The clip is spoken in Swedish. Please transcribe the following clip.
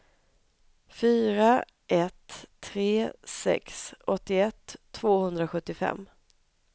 fyra ett tre sex åttioett tvåhundrasjuttiofem